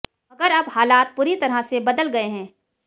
मगर अब हालात पूरी तरह से बदल गए हैं